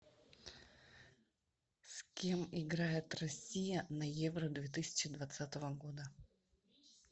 с кем играет россия на евро две тысячи двадцатого года